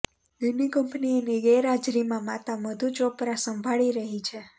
એની company એની ગેરહાજરીમાં માતા મધુ ચોપરા સંભાળી રહી છે